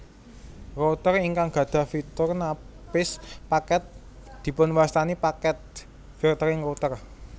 Router ingkang gadhah fitur napis paket dipunwastani packet filtering router